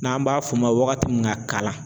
N'an b'a f'o ma waagati min na kalan